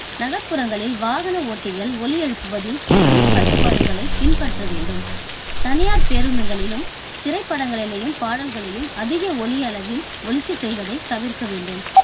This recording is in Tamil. நகர்ப்புறங்களில் வாகன ஓட்டிகள் ஒலி எழுப்புவதில் சுய கட்டுப்பாடுகளை பின்பற்ற வேண்டும். தனியார் பேருந்துகளிளும் திரைப்படங்களிலும் பாடல்களையும் அதிக ஒலி அளவில் ஒலிக்க செய்வதை தவிர்க்க வேண்டும்.